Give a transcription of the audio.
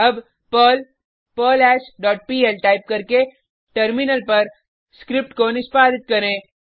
अब Perl perl hash dot PL type करके terminal पर स्क्रिप्ट को निष्पादित करें